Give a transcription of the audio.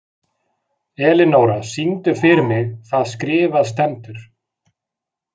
Elinóra, syngdu fyrir mig „Það skrifað stendur“.